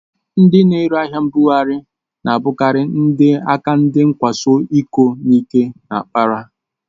Ndị na-ere ahịa mbugharị na-abụkarị ndị aka ndị nkwaso iko n'ike na-akpara